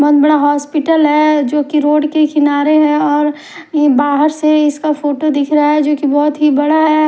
बहुत बडा हॉस्पिटल हैं जो की रोड के किनारे हैं और बाहर से इसका फोटो दिख रहा हैं जो की बहुत ही बडा हैं ।